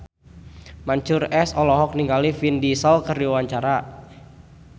Mansyur S olohok ningali Vin Diesel keur diwawancara